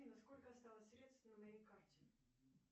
афина сколько осталось средств на моей карте